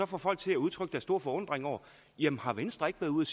får folk til at udtrykke deres store forundring jamen har venstre ikke været ude